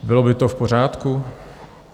Bylo by to v pořádku?